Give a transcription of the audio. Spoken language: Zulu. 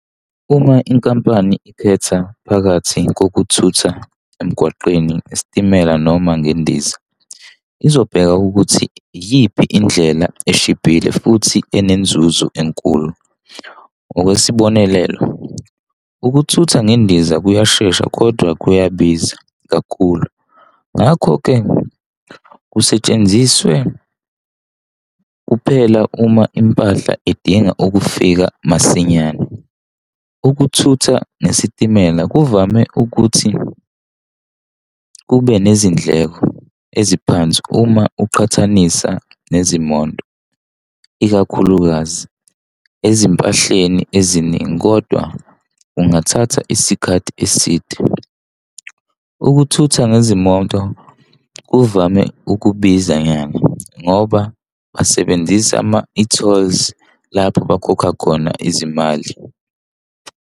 Uma inkampani ikhetha phakathi kokuthutha emgwaqeni, isitimela noma ngendiza izobheka ukuthi iyiphi indlela eshibhile futhi enenzuzo enkulu. Ngokwesibonelelo, ukuthutha ngendiza kuyashesha kodwa kuyabiza kakhulu, Ngakho-ke kusetshenziswe kuphela uma impahla edinga ukufika masinyane. Ukuthutha ngesitimela kuvame ukuthi kube nezindleko eziphansi uma uqhathanisa nezimoto, ikakhulukazi ezimpahleni eziningi, kodwa kungathatha isikhathi eside. Ukuthutha ngezimoto kuvame ukubiza nyanga ngoba basebenzise ama-e-tolls lapho abakhokha khona izimali.